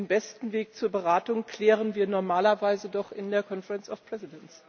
Den besten Weg zur Beratung klären wir normalerweise doch in der Konferenz der Präsidenten.